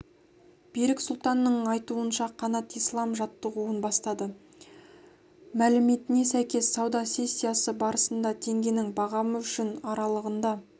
берік сұлтанның айтуынша қанат ислам жаттығуын бастады мәліметіне сәйкес сауда сессиясы барысында теңгенің бағамы үшін аралығында